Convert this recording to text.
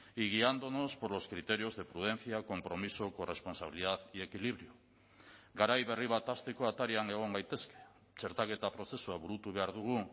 y guiándonos por los criterios de prudencia compromiso corresponsabilidad y equilibrio garai berri bat hasteko atarian egon gaitezke txertaketa prozesua burutu behar dugu